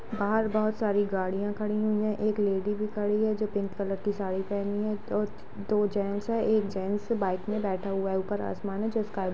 बाहर बहुत सारी गाड़ियां खड़ी हुई में एक लेडी भी खड़ी है जो पिंक कलर की साड़ी पहनी है दो दो जेंट्स हैं एक जेंट्स बाईक में बैठा हुआ है ऊपर आसमान है जो स्काय ब्लू --